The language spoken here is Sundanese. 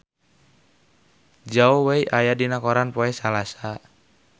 Zhao Wei aya dina koran poe Salasa